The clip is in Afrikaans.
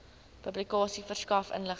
publikasie verskaf inligting